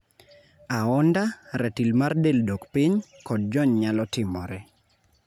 Aonda, ratil mar del dok piny, kod jony nyalo timore.